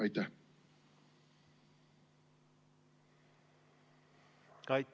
Aitäh!